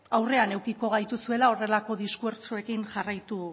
aurrean edukiko gaituzuela horrelako diskurtsoekin jarraitu